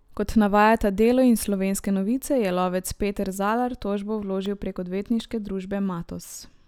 Kot navajata Delo in Slovenske novice, je lovec Peter Zalar tožbo vložil prek odvetniške družbe Matoz.